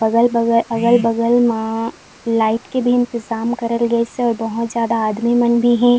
अगल बगल अगल बगल मा लाइट के भी इंतज़ाम करल गइ से और बहुत ज्यादा आदमी मन भी हैं।